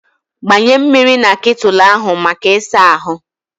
Gbanye mmiri na ketụlụ ahụ maka ịsa ahụ.